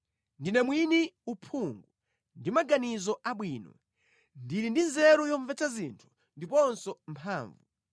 Ndine mwini uphungu ndi maganizo abwino; ndili ndi nzeru yomvetsa zinthu ndiponso mphamvu.